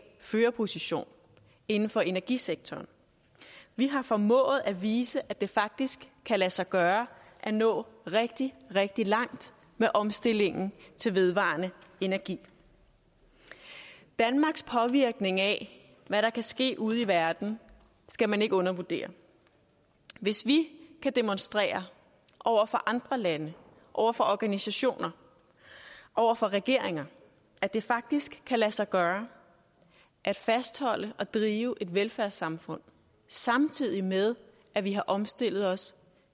førerposition inden for energisektoren vi har formået at vise at det faktisk kan lade sig gøre at nå rigtig rigtig langt med omstillingen til vedvarende energi danmarks påvirkning af hvad der kan ske ude i verden skal man ikke undervurdere hvis vi kan demonstrere over for andre lande over for organisationer over for regeringer at det faktisk kan lade sig gøre at fastholde og drive et velfærdssamfund samtidig med at vi har omstillet os